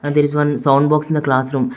And there is one sound box in the classroom.